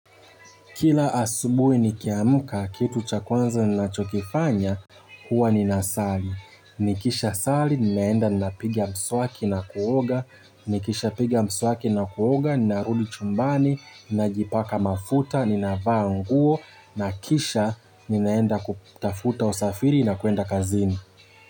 Kila asubuhi ni kiamka, kitu cha kwanza nina chokifanya, huwa ni nasali. Nikisha sali, ninaenda na piga mswaki na kuoga. Nikisha piga mswaki na kuoga, narudi chumbani, ninajipaka mafuta, ninavaa nguo. Nakisha, ninaenda kutafuta usafiri na kwenda kazini.